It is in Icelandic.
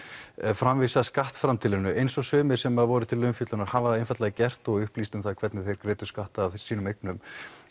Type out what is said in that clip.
framvísa skattframtalinu eins og sumir sem að voru til umfjöllunar hafa einfaldlega gert og upplýst um það hvernig þeir greiddu skatta af sínum eignum